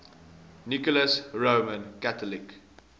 nicholas roman catholic